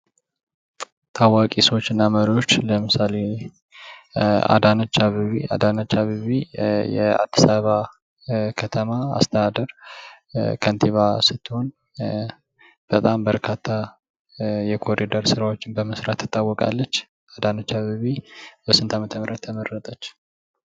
ታዋቂ ሰዎች እና መሪዎች ለምሳሌ አዳነች አበቤ፡- አዳነች አበቤ የአዲስ አበባ ከተማ አስተዳደር ከንቲባ ስትሆን ፤ በጣም በርካታ የኮሪደር ስራዎችን በመስራት ትታወቃለች። አዳነች አበቤ በስንት ዓመተ ምህረት ተመረጠች?